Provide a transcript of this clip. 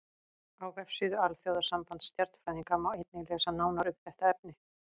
Á vefsíðu Alþjóðasambands stjarnfræðinga má einnig lesa nánar um þetta efni.